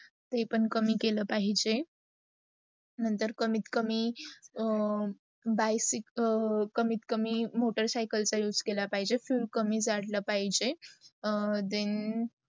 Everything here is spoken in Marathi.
ते पण कमी केले पाहिजे. नंतर कमीत - कमी कमित- कमी मोटर सायकल पण उस केल पाहिजे, fuel कमी जडला पाहिजे. then